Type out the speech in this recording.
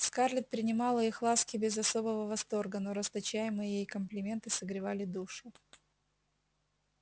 скарлетт принимала их ласки без особого восторга но расточаемые ей комплименты согревали душу